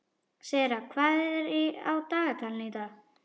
Sera, hvað er á dagatalinu í dag?